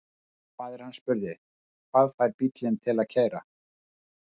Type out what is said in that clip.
Faðir hann spurði: Hvað fær bílinn til að keyra?